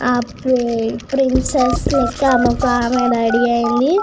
ఆ ప్రి ప్రిన్సెస్ లెక్క ఆమె వక ఆమె రెడీ ఏఇంది.